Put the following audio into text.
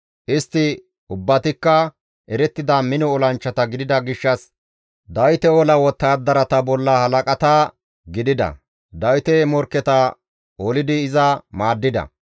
Istti ubbatikka erettida mino olanchchata gidida gishshas Dawite ola wottadarata bolla halaqata gidida; Dawite morkketa olidi iza maaddida.